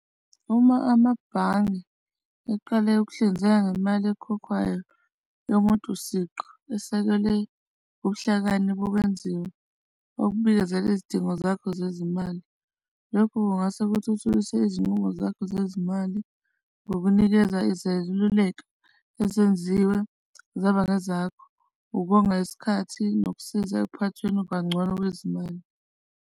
Uma amabhange eqale ukuhlinzeka ngemali ekhokhwayo yomuntu siqu esekele ubuhlakani bube nzima okubikezela izidingo zakho zezimali. Lokhu kungase kuthuthukise izinqumo zakho zezimali ngokunikeza izeluleko ezenziwe zaba ezakho, ukonga isikhathi nokusiza ekuphathweni kangcono kwezimali.